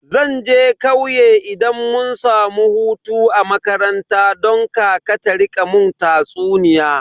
Zan je kauye idan mun samu hutu a makaranta don kaka ta rika mun tatsuniya.